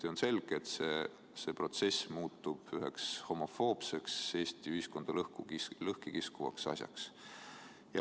Ja on selge, et see protsess muutub üheks homofoobseks Eesti ühiskonda lõhki kiskuvaks asjaks.